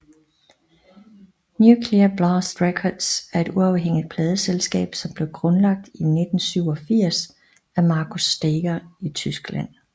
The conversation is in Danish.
Nuclear Blast Records er et uafhængig pladeselskab som blev grundlagt i 1987 af Markus Staiger i Tyskland